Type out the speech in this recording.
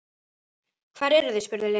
Hvar eruð þið? spurði Lilla.